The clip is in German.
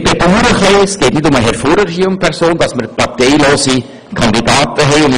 Es hat deshalb nichts mit Herrn Furrer zu tun, dass wir es ein wenig bedauern, dass wir parteilose Kandidaten haben.